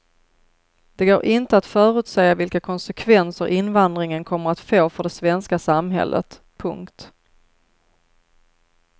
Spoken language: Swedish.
Det går inte att förutsäga vilka konsekvenser invandringen kommer att få för det svenska samhället. punkt